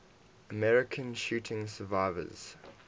american shooting survivors